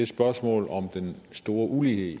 spørgsmålet om den store ulighed i